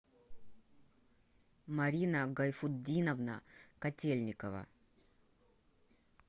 марина гайфутдиновна котельникова